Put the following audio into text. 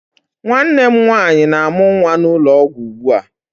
Nwanne m nwaanyị na-amụ nwa n'ụlọ ọgwụ ugbua.